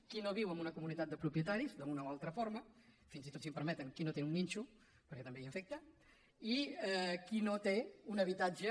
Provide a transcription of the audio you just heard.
quin no viu en una comunitat de propietaris d’alguna o altra forma fins i tot si em permeten qui no té un nínxol perquè també hi afecta i qui no té un habitatge